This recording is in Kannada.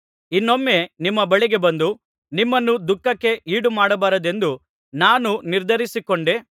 ಇನ್ನೊಮ್ಮೆ ನಿಮ್ಮ ಬಳಿಗೆ ಬಂದು ನಿಮ್ಮನ್ನು ದುಃಖಕ್ಕೆ ಈಡುಮಾಡಬಾರದೆಂದು ನಾನು ನಿರ್ಧರಿಸಿಕೊಂಡೆ